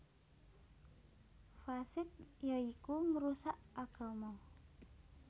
Fasiq ya iku ngrusak agama